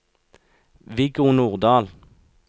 Viggo Nordal